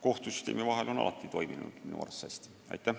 kohtusüsteemi vahel on minu arvates alati hästi toiminud.